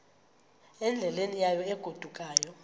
endleleni yayo egodukayo